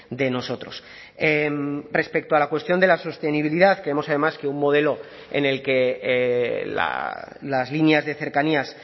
de nosotros respecto a la cuestión de la sostenibilidad creemos además que un modelo en el que las líneas de cercanías